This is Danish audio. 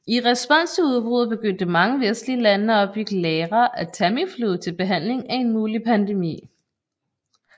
I respons til udbruddet begyndte mange vestlige lande at opbygge lagre af Tamiflu til behandling af en mulig pandemi